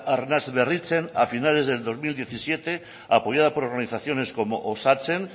arnasberritzen a finales de dos mil diecisiete apoyada por organizaciones como osatzen